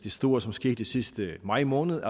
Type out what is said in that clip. store som skete sidste maj måned